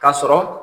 Ka sɔrɔ